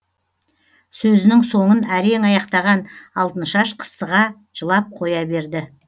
сөзінің соңын әрең аяқтаған алтыншаш қыстыға жылап қоя берді